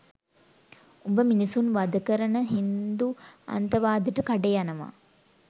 උඹ මිනිසුන් වඳ කරන හින්දු අන්තවාදේට කඩේ යනවා